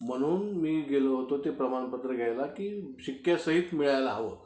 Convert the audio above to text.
म्हणून मी गेलो होतो ते प्रमाणपत्र घ्यायला की शिक्क्यासहीत मिळायला हवं.